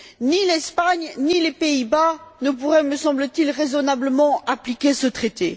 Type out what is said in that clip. Ni l'Espagne ni les Pays Bas ne pourraient, me semble t il, raisonnablement appliquer ce traité.